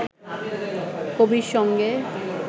কবির সঙ্গে